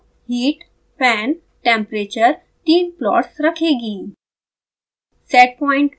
plot window heat fan temperature तीन plots रखेगी